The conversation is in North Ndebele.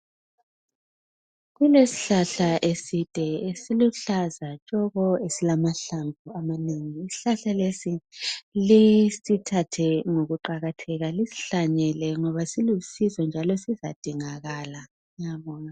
Kulesihlahla eside esiluhlaza tshoko, esilamahlamvu amanengi, isihlahla lesi lisithathe ngokuqakatheka lisihlanyele ngoba silusizo njalo sizadingakala ngiyabonga